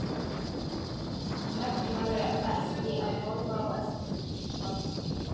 Megnaði ekki að horfa á eftir henni, barninu.